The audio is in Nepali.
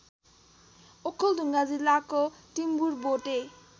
ओखलढुङ्गा जिल्लाको टिम्बुरबोटे